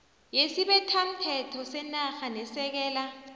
yesibethamthetho senarha nesekela